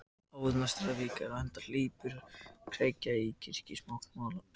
Áður en næsta vika er á enda hleypur kergja í þetta kirkjusóknarmál.